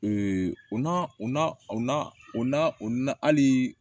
o na o na o na o n'a o na hali